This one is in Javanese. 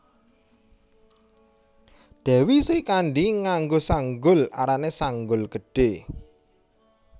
Dewi Srikandhi nganggo sanggul arané Sanggul Gedhé